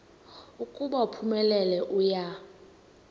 ukuba uphumelele uya